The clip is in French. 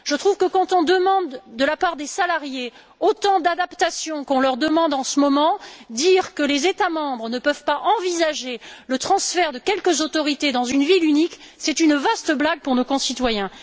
Je trouve que, lorsqu'on demande de la part des salariés, des adaptations aussi importantes qu'en ce moment, le fait de dire que les États membres ne peuvent pas envisager le transfert de quelques autorités dans une ville unique est une vaste blague pour nos concitoyens.